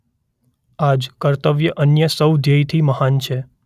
આજ કર્તવ્ય અન્ય સૌ ધ્યેયથી મહાન છે.